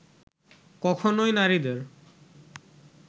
কখনোই নারীদের